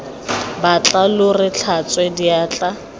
batla lo re tlhatswe diatla